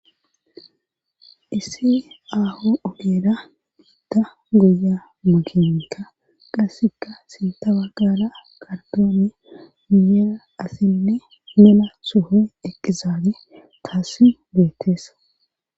Issi aaho ogeeda biidda goya makinika qasseka sinta wa gaala qardoone miyela asinne mena sohoy eqqizaade taassi beetteesa.